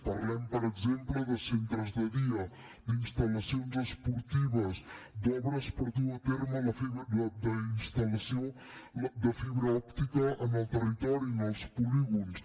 parlem per exemple de centres de dia d’instal·lacions esportives d’obres per dur a terme la instal·lació de fibra òptica en el territori en els polígons